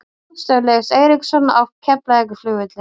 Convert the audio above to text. Flugstöð Leifs Eiríkssonar á Keflavíkurflugvelli.